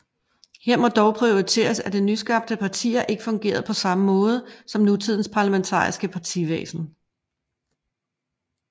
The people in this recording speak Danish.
Her må dog pointeres at de nyskabte partier ikke fungerede på samme måde som nutidens parlamentariske partivæsen